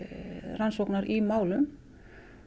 rannsóknar í málum